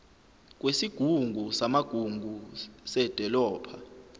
kwesigungu samagugu sedolobha